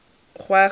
gagwe gore a tle a